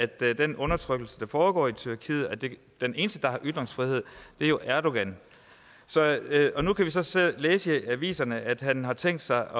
den undertrykkelse der foregår i tyrkiet den eneste der har ytringsfrihed er jo erdogan nu kan vi så så læse i aviserne at han har tænkt sig